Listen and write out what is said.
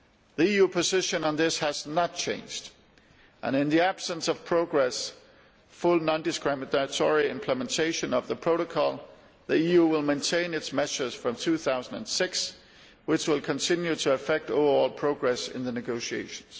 The EU position on this has not changed, and in the absence of progress in the full non discriminatory implementation of the Protocol, the EU will maintain its measures from 2006, which will continue to affect overall progress in the negotiations.